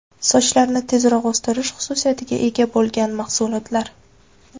Sochlarni tezroq o‘stirish xususiyatiga ega bo‘lgan mahsulotlar.